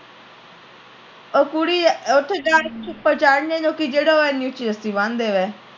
ਉਹ ਕੁੜੀ ਉਥੇ ਜਾ ਕ ਜਿਹੜਾ ਏਨੀ ਉੱਚੀ ਰੱਸੀ ਬਣ ਦੇਵੇ